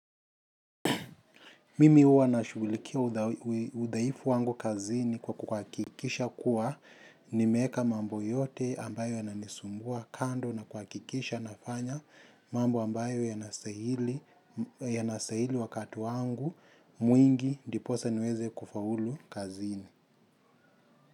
Mimi huwa na shughulikia udhaifu wangu kazini kwa kuhakikisha kuwa nimweka mambo yote ambayo yananisumbua kando na kuhakikisha nafanya mambo ambayo yanastahili wakati wangu mwingi ndiposa niweze kufaulu kazini.